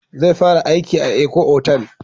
Zai fara aiki a Eko otal